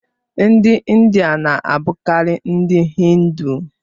Ndị India na-abụkarị ndị Hindu.